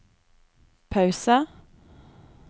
pause